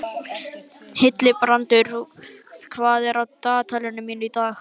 Hildibrandur, hvað er á dagatalinu mínu í dag?